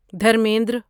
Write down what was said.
Dharmendra